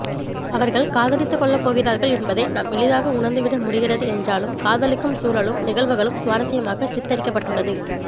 அவர்கள் காதலித்துக் கொள்ளப்போகிறார்கள் என்பதை நாம் எளிதாக உணர்ந்துவிட முடிகிறது என்றாலும் காதலிக்கும் சூழலும் நிகழ்வுகளும் சுவாரஸ்யமாகச் சித்தரிக்கபட்டுள்ளது